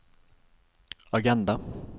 agenda